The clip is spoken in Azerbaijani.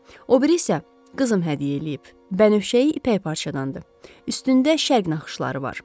O biri isə qızım hədiyyə eləyib, bənövşəyi ipək parçadandır, üstündə şərq naxışları var.